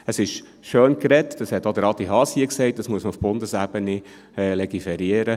Es ist schöngeredet, und auch Adi Haas hat hier gesagt, man müsse auf Bundesebene legiferieren.